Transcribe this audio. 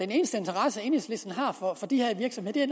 eneste interesse enhedslisten har for de her virksomheder